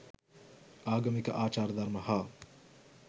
ආගමික ආචාර ධර්ම හා